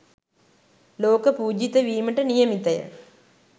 ලෝක පූජිත වීමට නියමිතය.